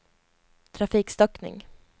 trafikstockning